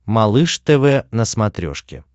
малыш тв на смотрешке